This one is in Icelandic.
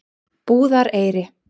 Búðareyri